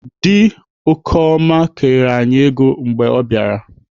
Dị Okeoma kerela anyị ego mgbe ọ bịara.